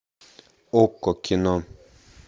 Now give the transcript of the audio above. окко кино